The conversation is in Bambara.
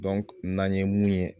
n'an ye mun ye